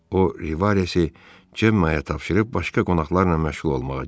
O, Rivaresi Cemma'ya tapşırıb başqa qonaqlarla məşğul olmağa getdi.